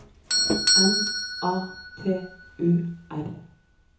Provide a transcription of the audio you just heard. N A T U R